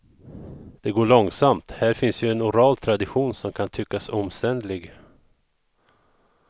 Det går långsamt, här finns en oral tradition som kan tyckas omständlig.